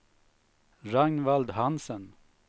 Ragnvald Hansen